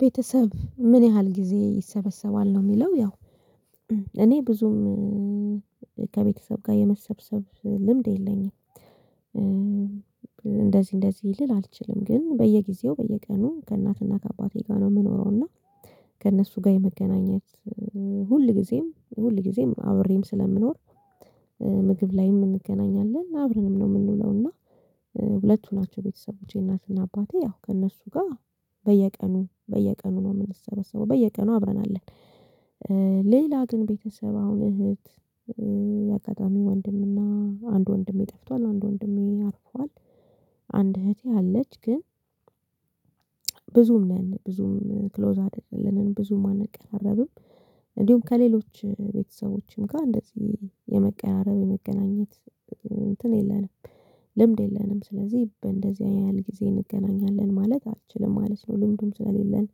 ቤተሰብ ምን ያህል ጊዜ ይሰበሰባል ነው የሚለው ያው እኔ ብዙም ከቤተሰብ ጋር የመሰብሰብ ልምድ የለኝም። እንደዚህ እንደዚህ ልል አልችልም። ግን በየጊዜው በየቀኑ ከእናትና ከአባቴ ጋር ነው የምኖረው እና ከእነሱ ጋር የመገናኘት ሁል ጊዜም ሁል ጊዜም አብሬም ስለምኖር። ምግብ ላይም እንገናኛለን አብረንም ነው የምንውለው። እና ሁለቱ ናቸው ቤተሰቦቼ እናትና አባቴ ያው ከእነሱ ጋር በየቀኑ በየቀኑ ነው የምንሰበሰበው በየቀኑ አብረን አለን። ሌላ ግን ቤተሰብ አሁን እህት የአጋጣሚ ወንድምና አንድ ወንድሜ ጠፍቷል አንድ ወንድሜ አርፏል። አንድ እህቴ አለች ግን ብዙም ነን ብዙም ክሎዝ አደረግን ብዙም አንቀራረብም። እንዲሁም ከሌሎች ቤተሰቦችም ጋር እንደዚህ የመቀራረብ የመገናኘት እንትን የለንም። ልምድ የለንም ስለዚህ በእንደዚህ ያህል ጊዜ እንገናኛለን ማለት አልችልም ማለት ነው። ልምዱም ስለሌለን።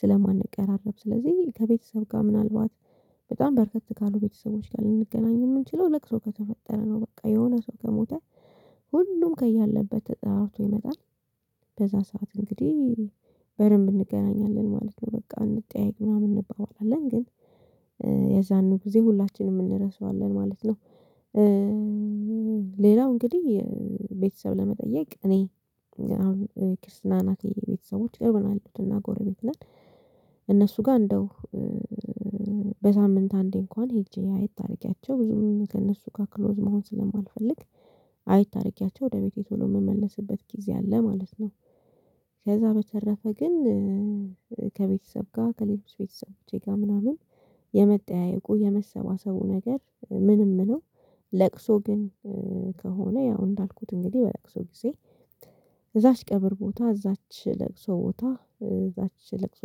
ስለማንቀራረብ ስለዚህ ከቤተሰብ ጋር ምናልባት በጣም በረከት ካሉ ቤተሰቦች ጋር ልንገናኝ የምንችለው ለቅሶ ከተፈጠረ ነው። በቃ የሆነ ሰው ከሞተ ሁሉም ከያለበት ተጠራርቶ ይመጣል። በዛ ሰዓት እንግዲህ በደንብ እንገናኛለን ማለት ነው በቃ እንጠያየቅ ምናምን እንባባላለን ግን ያዛኑ ጊዜ ሁላችንም እንረሳዋለን ማለት ነው። ሌላው እንግዲህ ቤተሰብ ለመጠየቅ እኔ አሁን ክርስትና እናቴ ቤተሰቦች ቅርብ ያሉት እና ጎረቤት ነን። እነሱ ጋር እንደው በሳምንት አንዴ እንኳን ሄጄ አየት አድርጊያቸው ብዙም ከእነሱ ጋር ክሎዝ መሆን ስለማልፈልግ። አይት አድርጊያቸው ወደ ቤቴ ቶሎ የምመለስበት ጊዜ አለ ማለት ነው። ከዛ በተረፈ ግን ከቤተሰብ ጋር ከሌሎች ቤተሰብ ቼ ጋር ምናምን የመጣያየቁ የመሰባሰቡ ነገር ምንም ነው። ለቅሶ ግን ከሆነ ያው እንዳልኩት እንግዲህ በለቅሶ ጊዜ እዛች ቀብር ቦታ እዛች ለቅሶ ቦታ እዛች ለቅሶ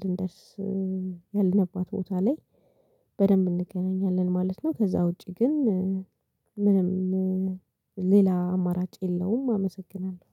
ልንደርስ ያልንባት ቦታ ላይ በደንብ እንገናኛለን ማለት ነው። ከዛ ውጪ ግን ምንም ሌላ አማራጭ የለውም። አመሰግናለሁ